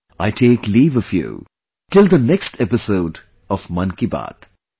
I take leave of you till the next episode of 'Mann Ki Baat'